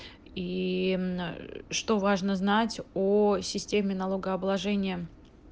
ии что важно знать о системе налогообложения